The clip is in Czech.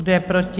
Kdo je proti?